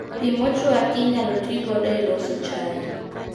Pii mochwaki inyalo tii godo e loso chai